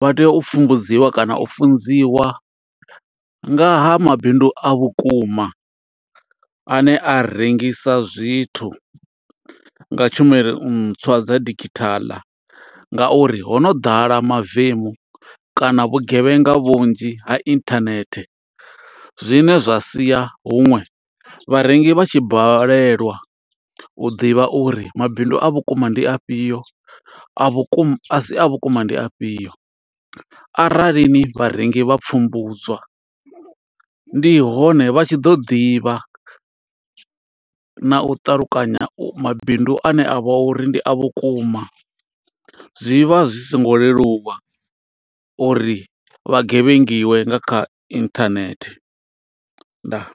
Vha tea u pfumbudziwa kana u funziwa nga ha mabindu a vhukuma, a ne a rengisa zwithu nga tshumelo ntswa dza digithala. Nga uri ho no ḓala mavemu kana vhugevhenga vhunzhi ha inthanethe. Zwine zwa sia huṅwe vharengi vha tshi balelwa u ḓivha uri mabindu a vhukuma ndi afhio, a vhukuma a si a vhukuma ndi afhio. Aralini vharengi vha pfumbudzwa, ndi hone vha tshi ḓo ḓivha na u ṱalukanya mabindu ane a vha uri ndi a vhukuma. Zwi vha zwi songo leluwa uri vha gevhengiwe nga kha internet. Ndaa.